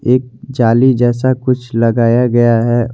एक जाली जैसा कुछ लगाया गया है।